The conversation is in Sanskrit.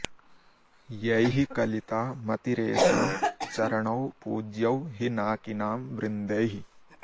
यैः कलिता मतिरेषां चरणौ पूज्यौ हि नाकिनां वृन्दैः